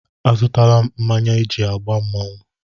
Azụtala m mmanya eji agba mmanwụ.